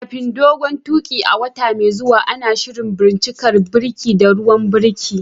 Kafin dogon tuƙi a wata mai zuwa, ana shirin bincikar birki da ruwan birki.